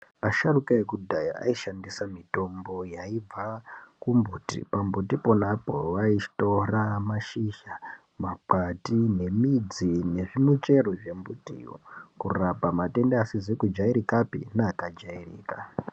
Asharuka ekudhaya aishandisa mutombo yaibva kumbuti pambuti pona ipapo vaitora mashizha makwati nemikwati nezvimichero zvembitiyo kurapa matenda asizi kujairika pe neakajairika.